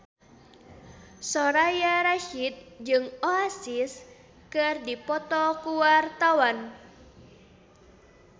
Soraya Rasyid jeung Oasis keur dipoto ku wartawan